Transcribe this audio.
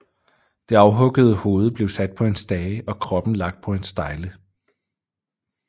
Det afhuggede hoved blev sat på en stage og kroppen lagt på stejle